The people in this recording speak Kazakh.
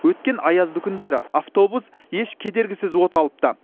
өткен аязды күндері автобус еш кедергісіз оталыпты